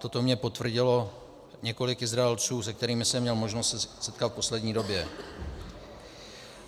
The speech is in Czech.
Toto mně potvrdilo několik Izraelců, se kterými jsem měl možnost se setkat v poslední době.